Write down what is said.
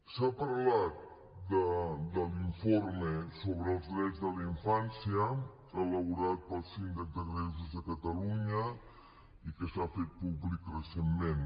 s’ha parlat de l’informe sobre els drets de la infància elaborat pel síndic de greuges de catalunya i que s’ha fet públic recentment